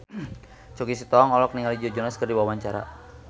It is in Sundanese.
Choky Sitohang olohok ningali Joe Jonas keur diwawancara